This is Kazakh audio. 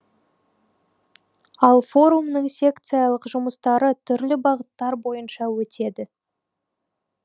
ал форумның секциялық жүмыстары түрлі бағыттар бойынша өтеді